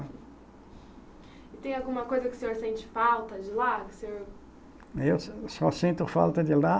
E tem alguma coisa que o senhor sente falta de lá? Que o senhor. Eu só sinto falta de lá